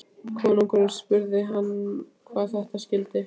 Konungurinn spurði hann hvað það skyldi.